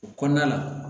O kɔnɔna la